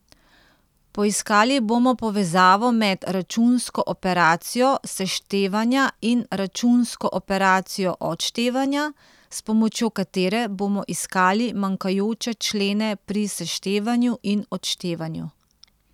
Poiskali bomo povezavo med računsko operacijo seštevanja in računsko operacijo odštevanja, s pomočjo katere bomo iskali manjkajoče člene pri seštevanju in odštevanju.